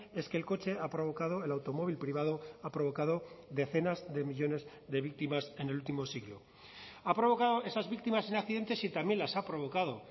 es que el coche ha provocado el automóvil privado ha provocado decenas de millónes de víctimas en el último siglo ha provocado esas víctimas en accidentes y también las ha provocado